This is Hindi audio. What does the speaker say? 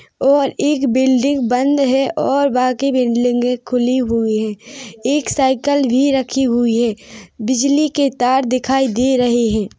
और एक बिल्डिंग बंद हैं और बाकि बिल्डिंगे खुली हुई हैं एक साइकिल भी रखी हुई हैं बिजली के तार दिखाई दे रहे हैं।